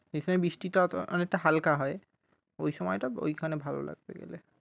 সেই সময় বৃষ্টি টা অনেকটা হালকা হয় ওই সময়টা ওইখানে ভালো লাগবে গেলে।